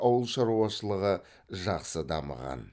ауыл шаруашылығы жақсы дамыған